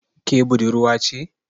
Ke budurwa ce?